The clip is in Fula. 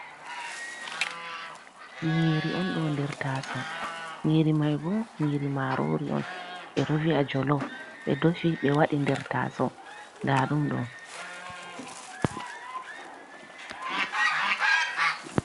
Nyiri on ɗo nder taaso. Nyiri mai bo nyiri marori on. Ɓe ɗo vi'a jolov, ɓe defi, ɓe waɗi nder taaso. Ndaa ɗum ɗo.